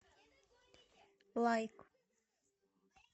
лайк